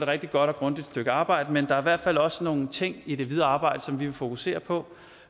rigtig godt og grundigt stykke arbejde men der er i hvert fald også nogle ting i det videre arbejde som vi vil fokusere på